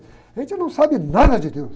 A gente não sabe nada de deus.